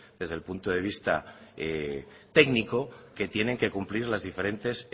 desde el punto de vista técnico que tienen que cumplir las diferentes